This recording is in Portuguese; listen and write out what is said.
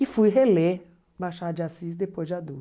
E fui reler Machado de Assis depois de adulto.